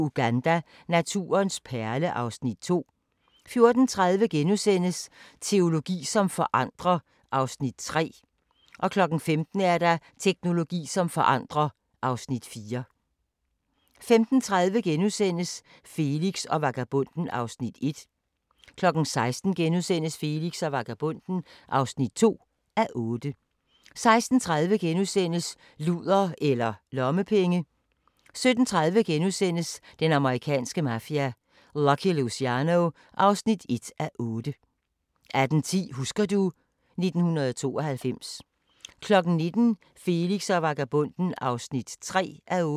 05:45: Solens mad (1:6)* 06:15: Solens mad (2:6)* 06:45: Taxa (43:56)* 07:20: Taxa (44:56) 08:25: Dagens sang: Se, det summer af sol 09:35: Smag på Danmark – med Meyer (7:13)* 10:05: Smag på Danmark – med Meyer (8:13) 10:35: Kongehuset (2:10)* 11:05: Kongehuset (3:10) 11:35: Dahlgårds Tivoli (2:8)*